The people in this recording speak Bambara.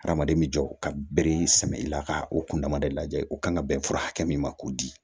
Hadamaden bɛ jɔ ka bere sɛbɛ i la ka o kun dama de lajɛ o kan ka bɛn fura hakɛ min ma k'o di